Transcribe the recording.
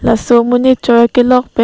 laso monit choi a kelok pen--